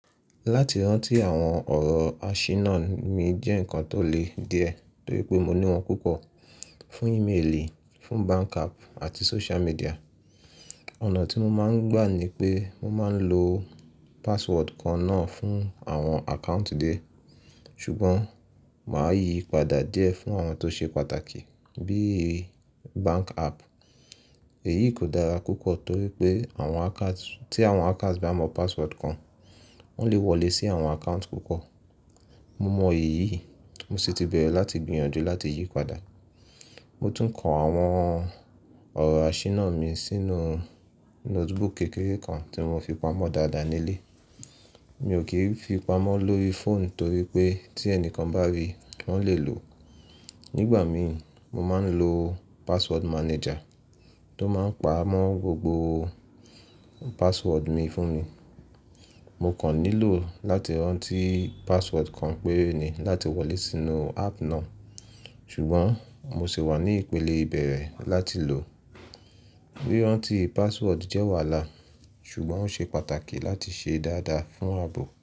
Láti rántí àwọn ọ̀rọ̀ àṣírí náà mi jẹ́ nǹkan tó le díẹ̀ torí pé mo ní wọn púpọ̀ fún ímeèlì, fún bank app àti social media. Ọ̀nà tí mo máa ń gbà ni pé mo máa ń lo password kan náà fún àwọn account die Ṣùgbọ́n màá yí padà díẹ̀ fún àwọn tó ṣe pàtàkì bí i bank app. Èyí kò dára púpọ̀ torí pé tí àwọn hacker bá mọ password kan, wọ́n lè wọlé sí àwọn account púpọ̀. Mo mọ èyí, mo sì ti bẹ̀rẹ̀ láti gbìyànjú láti yí padà. Mo tún kọ àwọn ọ̀rọ̀ àṣírí náà mi sínú notebook kékeré kan tí mo fi pamọ́ dáadáa nílé. Mi ò kì í fi pamọ́ lórí fóònù torí pé tí ẹni kan bá rí, wọ́n lè lò ó. Nígbà mi mo máa ń lo password manager tó máa ń pamọ́ gbogbo password mi fún mi. Mo kàn nílò láti rántí password kan péré ni láti wọlé sínú app náà. Ṣùgbọ́n mo sì wà ní ìpele ìbẹ̀rẹ̀ láti lò ó. Ri rántí password jẹ́ wàhálà, ṣùgbọ́n ó ṣe pàtàkì láti ṣe dáadáa fún ààbò.